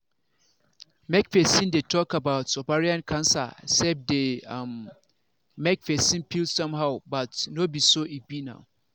make persin dey talk about ovarian cancer sef dey um make persin feel somehow but no be so e be now